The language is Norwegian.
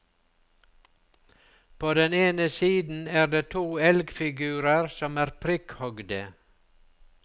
På den ene siden er det to elgfigurer som er prikkhogde.